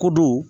Ko dow